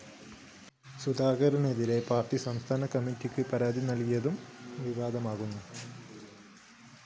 സുധാകരനെതിരെ party സംസ്ഥാന കമ്മറ്റിക്ക് പരാതി നല്‍കിയതും വിവാദമുയര്‍ത്തിയിരുന്നു